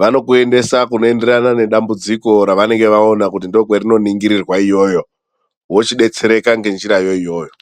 vanokuendesa kunoenderana nedambudziko revanenge vaona kuti ndookwerinoningirirwa iyoyo. Wochidetsereka ngenjira yo iyoyo.